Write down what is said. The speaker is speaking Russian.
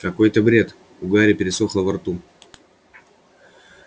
какой-то бред у гарри пересохло во рту